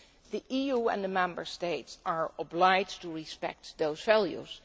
The EU and the Member States are obliged to respect those values.